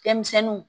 Fɛn misɛnninw